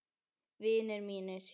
Vinir mínir.